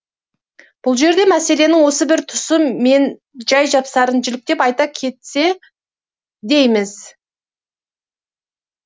бұл жерде мәселенің осы бір тұсы менжай жапсарын жіліктеп айта кетсек дейміз